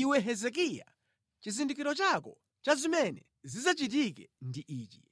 “Iwe Hezekiya, chizindikiro chako cha zimene zidzachitike ndi ichi: